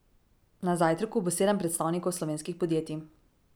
Na zajtrku bo sedem predstavnikov slovenskih podjetij.